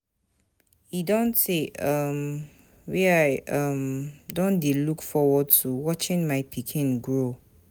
E don tey um wey I um don dey look forward to watching my pikin grow.